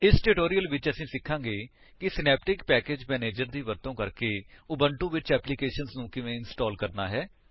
ਇਸ ਟਿਊਟੋਰਿਅਲ ਵਿੱਚ ਅਸੀ ਸਿਖਾਂਗੇ ਕਿ ਸਿਨੈਪਟਿਕ ਪੈਕੇਜ ਮੈਨੇਜਰ ਦੀ ਵਰਤੋਂ ਕਰਕੇ ਉਬੁੰਟੂ ਵਿੱਚ ਐਪਲੀਕੇਸ਼ਨਜ਼ ਨੂੰ ਕਿਵੇਂ ਇੰਸਟਾਲ ਕਰਨਾ ਹੈ